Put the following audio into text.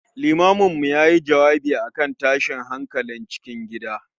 Limamin mu yayi jawabi akan tashin hankalin cikin gida